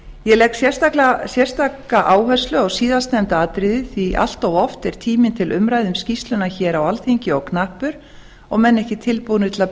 ég legg sérstaka áherslu á síðasttalda atriðið því allt of oft er tíminn til umræðu um skýrsluna hér á alþingi of knappur og menn ekki tilbúnir til að